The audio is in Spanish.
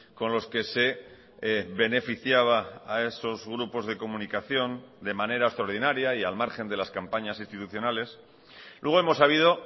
con los que se beneficiaba a esos grupos de comunicación de manera extraordinaria y al margen de las campañas institucionales luego hemos sabido